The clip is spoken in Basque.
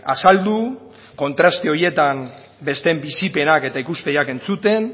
azaldu kontraste horietan besteen bizipenak eta ikuspegiak entzuten